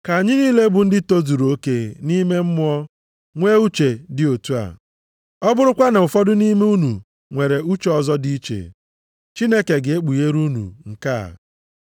Ka anyị niile, bụ ndị tozuru oke nʼime mmụọ nwee uche dị otu a. Ọ bụrụkwa na ụfọdụ nʼime unu nwere uche ọzọ dị iche, Chineke ga-ekpughere unu nke a.